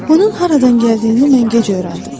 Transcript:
Onun haradan gəldiyini mən gec öyrəndim.